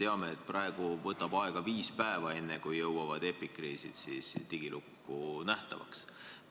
Me teame, et praegu kulub viis päeva, enne kui epikriisid digilukku jõuavad ja nähtavaks muutuvad.